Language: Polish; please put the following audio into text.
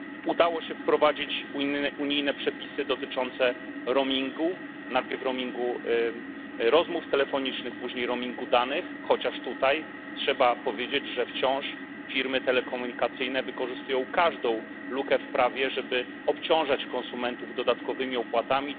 Udało się wprowadzić unijne przepisy dotyczące roamingu najpierw roamingu rozmów telefonicznych, później roamingu danych, chociaż tutaj trzeba powiedzieć, że firmy telekomunikacyjne wciąż wykorzystują każdą lukę w prawie, żeby obciążać konsumentów dodatkowymi opłatami.